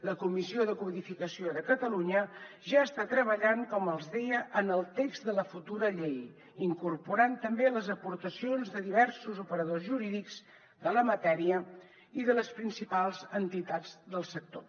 la comissió de codificació de catalunya ja està treballant com els deia en el text de la futura llei incorporant també les aportacions de diversos operadors jurídics de la matèria i de les principals entitats del sector